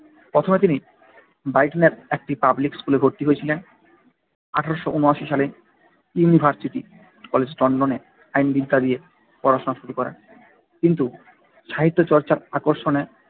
প্রথমে তিনি ব্রাইটনের একটি পাবলিক স্কুলে ভর্তি হয়েছিলেন। আঠারোশো উনওয়াসী সালে ইউনিভার্সিটি কলেজ লন্ডনে আইনবিদ্যা নিয়ে পড়াশোনা শুরু করেন। কিন্তু সাহিত্যচর্চার আকর্ষণে